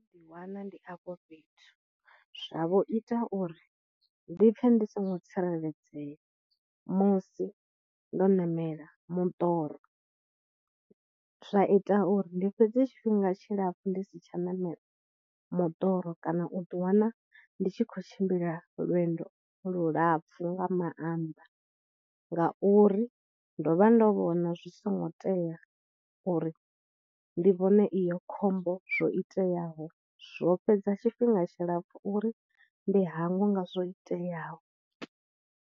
Ḓi wana ndi afho fhethu, zwa vho ita uri ndi ḓipfhe ndi songo tsireledzea musi ndo ṋamela mudoro, zwa ita uri ndi fhedze tshifhinga tshilapfhu ndi si tsha ṋamela moḓoro kana u ḓi wana ndi tshi khou tshimbila lwendo lulapfhu nga mannḓa ngauri ndo vha ndo vhona zwi songo tea uri ndi vhone iyo khombo zwo iteyaho, zwo fhedza tshifhinga tshilapfu uri ndi hangwe nga zwo iteaho.